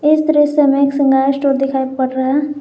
इस दृश्य में एक श्रृंगार स्टोर दिखाई पड़ रहा है।